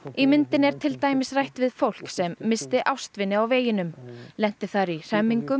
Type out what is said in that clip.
í myndinni er til dæmis rætt við fólk sem missti ástvini á veginum lenti þar í hremmingum